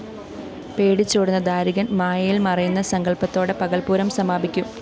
പേടിച്ചോടുന്ന ദാരികന്‍ മായയില്‍ മറയുന്ന സങ്കല്‍പ്പത്തോടെ പകല്‍പ്പൂരം സമാപിക്കും